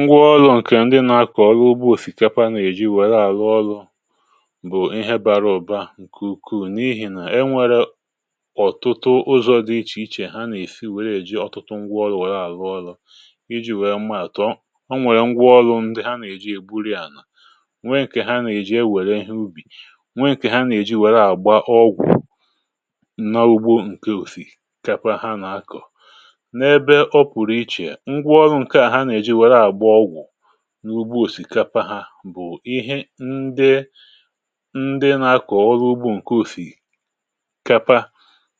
ṅgwọ́ ọrụ́ ǹkè ndị nà-akọ̀ ọrụ́ ụgbọ̇ òsìkapa nà-èji wère àlụ́ ọlụ̇ bụ̀ ihe bara ụ̀ba ǹkè ùkù, n’ihì nà e nwèrè ọ̀tùtụ ụzọ̇ dị iche iche ha nà-èji wèrè um èji ọ̀tụtụ ṅgwọ́ ọrụ́ ụlọ̇ àlụ́ ọlụ̇ iji̇ wèe mma àtọ ọ. O nwèrè ṅgwọ́ ndị ha nà-èji ègburuya nwèè ǹkè ha nà-èji ewèrè ihe ubì, nwèè ǹkè ha nà-èji wère àgba ọgwụ̀ nà ugbȯ ǹkè òsìkapa ha nà-akọ̀ n’ebe ọ pụ̀rụ̀ iche. N’ùgbò̇ òsìkapa, ha bụ̀ ihe ndị um ndị nà-akọ̀ ọrụ́ ugbȯ ǹkè usìkapa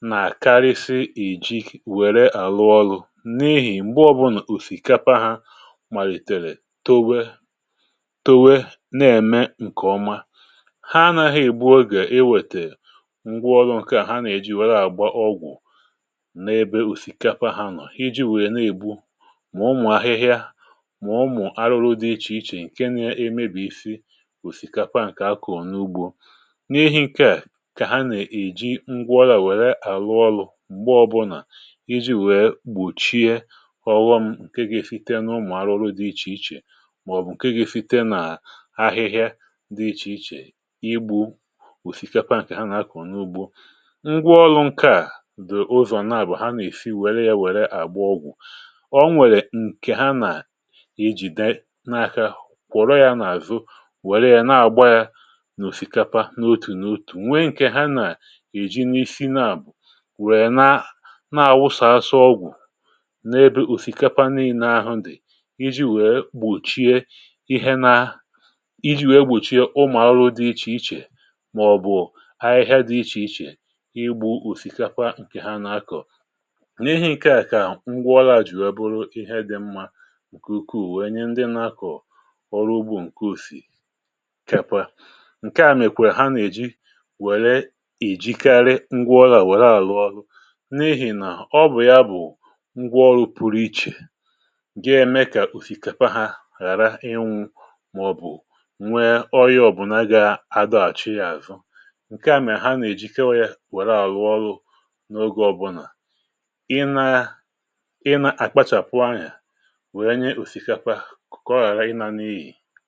nà-àkarịsị ìji wère àlụ́ ọlụ̇ n’ihì m̀gbe ọbụnụ̀ òsìkapa ha màlìtèrè towe-towe, nà-ème ǹkèọma ha naghị ìgbu oge iwètè ngwa ọrụ́ ǹkè ha nà-eji wèrè àgba ọgwụ̀ n’ebe ùsìkapa ha nọ̀ iji wèe nà-ìgbu mà ọ mụ̀ arụrụ dị iche iche ǹkè na-emebì isi ùsìkapa ǹkè akọ̀ọ n’ùgbò. N’ihi̇ ǹkè à, kà ha nà-èji ngwa ọlà wère àlụ́ ọlụ̇ m̀gbe ọbụnà iji̇ wèe gbòchie ọwọm ǹkè gȧ-efite n’ụmụ̀ arụrụ dị iche iche màọ̀bụ̀ ǹkè gȧ-efite nà ahịhịa dị iche iche, igbu ùsìkapa ǹkè ha nà-akọ̀ọ n’ùgbò. Ngwa ọlụ̇ ǹkè à dị ụzọ̀ nà bụ̀ ha nà-èji wère ya wère àgba ọgwụ̀, ijì neaka kwòro yȧ n’àzu, wère yȧ, na-àgba yȧ n’òsìkapa n’otù n’òtù, nwe ǹkè ha nà-èji n’isi naàwù wè na na-àwụsàasụ ọgwụ̀ n’ebe òsìkapa n’inee ahụ ndì, iji wèe gbòchie ihe um nà iji wèe gbòchie ụmụ̀alụ dị̇ iche iche màọ̀bụ̀ ha ihe dị̇ iche iche, ịgbu òsìkapa ǹkè ha nà-akọ̀. N’ihe ǹkè à, kà ngwaọlà jì wèe bụrụ ihe dị̇ mmȧ, ọrụ́ ugbȯ ǹkè usìkapa ǹkè à mèkwàrà ha netị̀ wère ìjikarị ngwa ọlȧ wère àlụ́ ọlụ̇ n’ihì nà ọ bụ̀ ya bụ̀ ngwa ọlụ̇ pụrụ iche, ge eme kà usìkapa hȧ ghàra ịnwụ, mà ọ̀ bụ̀ ònwe ọyịọ̇ bụ̀ nà gà-adọ àchị ya àzụ ǹkè àmịà ha nà èjikewa ya wère àlụ́ ọlụ̇ n’ogė ọbụlà ị nà-àkpachàpụ anyà kùkò ọ ghàrà ịnànụ ihe.